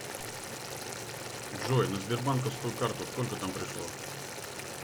джой на сбербанковскую карту сколько там пришло